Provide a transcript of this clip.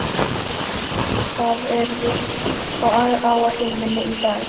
Varmar, hvað er á áætluninni minni í dag?